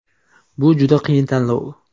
Bu juda qiyin tanlov.